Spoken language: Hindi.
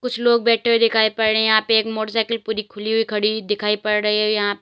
कुछ लोग बैठे हुए दिखाई पड़ रहे हैं यहां पे एक मोटरसाइकिल पूरी खुली हुई खड़ी दिखाई पड़ रही है औ यहां --